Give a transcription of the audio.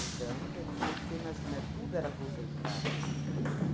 quer dizer que, você imagina, tudo era concentrado ali.